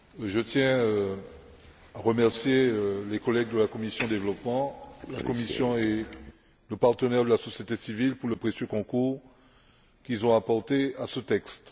je tiens à remercier les collègues de la commission du développement, la Commission et nos partenaires de la société civile pour le précieux concours qu'ils ont apporté à ce texte.